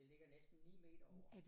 Det ligger næsten 9 meter over